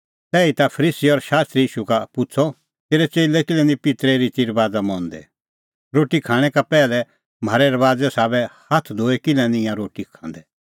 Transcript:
तैहीता फरीसी और शास्त्री ईशू का पुछ़अ तेरै च़ेल्लै किल्है निं पित्तरे रितीरबाज़ा मंदै म्हारै रबाज़े साबै रोटी खाणैं का पैहलै नधोऐ हाथै किल्है खाआ तिंयां रोटी